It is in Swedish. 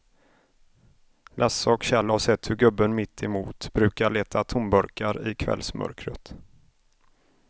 Lasse och Kjell har sett hur gubben mittemot brukar leta tomburkar i kvällsmörkret.